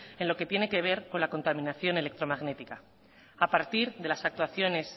en lo que tiene que ver con la contaminación electromagnética a partir de las actuaciones